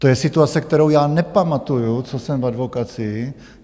To je situace, kterou já nepamatuji, co jsem v advokacii.